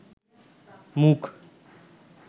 মুখ